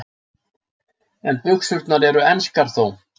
En buxurnar eru enskar þó.